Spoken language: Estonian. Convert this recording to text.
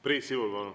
Priit Sibul, palun!